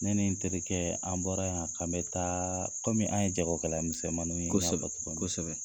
Ne ni terikɛ an bɔra yan k'an bɛ taa kɔmi an ye jagokɛlamisɛnmaninw ye kosɛbɛ kosɛbɛ